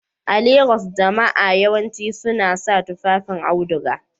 A Legas, jama'a yawanci suna sa tufafin auduga